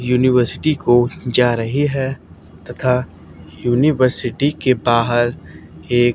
university को जा रही हैं तथा यूनिवर्सिटी के बाहर एक--